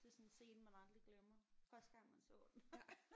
Det er sådan en scene man aldrig glemmer. Første gang man så den